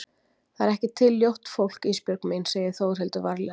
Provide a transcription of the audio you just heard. Það er ekki til ljótt fólk Ísbjörg mín, segir Þórhildur varlega.